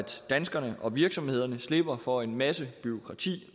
danskerne og virksomhederne slipper for en masse bureaukrati